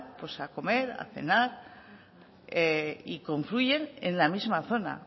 a comer a cenar y confluyen en la misma zona